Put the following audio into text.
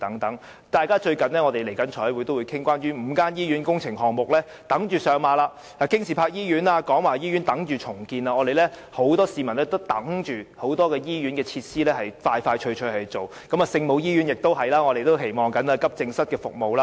近日財務委員會亦即將討論關於5間醫院工程項目的撥款問題，包括京士柏醫院及廣華醫院亦正等待重建，很多市民也等着多間醫院盡快做好設施，我們亦期望聖母醫院可以加開急症室服務。